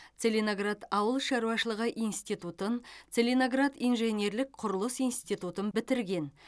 целиноград ауыл шаруашылығы институтын целиноград инженерлік құрылыс институтын бітірген